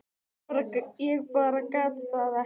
Ég bara gat það ekki.